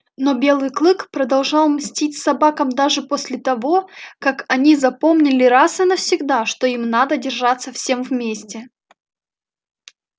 но белый клык продолжал мстить собакам даже после того как они запомнили раз и навсегда что им надо держаться всем вместе